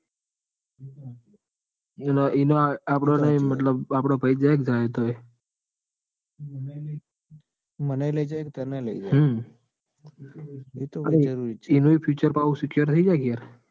એનો એનો આપડોને આપડો ભાઈ જ જાય ને જાય તોએ. હમ મને એ લઇ જોય કે તને લઈ જાય. હમ એતો જરૂરી જ છે એનું બ future એ પાહુ secure થઇ જાય કે યાર.